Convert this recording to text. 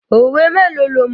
Òwe mélòó lo mọ̀?